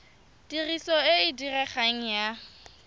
tiriso e e diregang ya